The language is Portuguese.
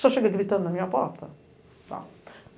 Senhor chega gritando na minha porta.